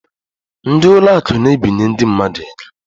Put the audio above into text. Ndị ụlọ akụ na-ebinye ndị mmadụ ego.